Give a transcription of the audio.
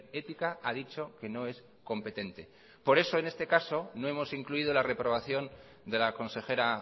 ética ha dicho que no es competente por eso en este caso no hemos incluido la reprobación de la consejera